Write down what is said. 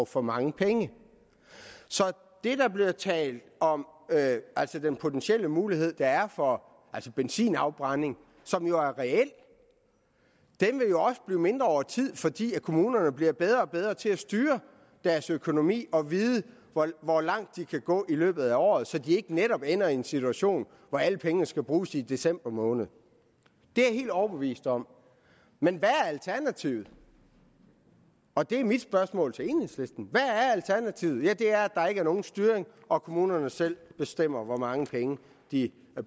for mange penge så det der er blevet talt om altså den potentielle mulighed der er for benzinafbrænding som jo er reel vil jo også blive mindre over tid fordi kommunerne bliver bedre og bedre til at styre deres økonomi og vide hvor langt de kan gå i løbet af året så de netop ikke ender i en situation hvor alle pengene skal bruges i december måned det er jeg helt overbevist om men hvad er alternativet og det er mit spørgsmål til enhedslisten hvad er alternativet ja det er at der ikke er nogen styring og kommunerne selv bestemmer hvor mange penge de